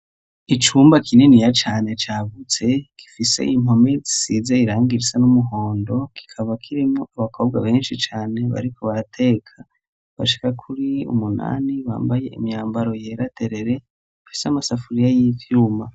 Icumba kininiya cane cagutse, gifise impome zisize irangi risa n'umuhondo; kikaba kirimwo abakobwa benshi cane bariko barateka, bashika kuri umunani bambaye imyambaro yera derere, bafise amasafuriya y'ivyuma.